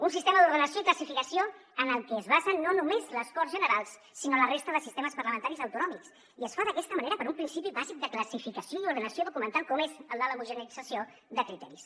un sistema d’ordenació i classificació en què es basen no només les corts generals sinó la resta de sistemes parlamentaris autonòmics i es fa d’aquesta manera per un principi bàsic de classificació i ordenació documental com és el de l’homogeneïtzació de criteris